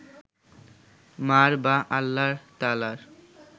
মা’র বা আল্লাহ তায়ালার